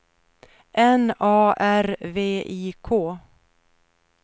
N A R V I K